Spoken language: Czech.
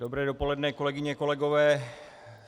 Dobré dopoledne, kolegyně, kolegové.